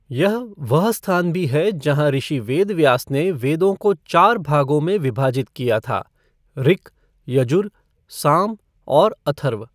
यह वह स्थान भी है जहां ऋषि वेदव्यास ने वेदों को चार भागों में विभाजित किया था ऋक्, यजुर, साम और अथर्व।